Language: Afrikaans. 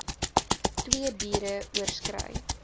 twee biere oorskry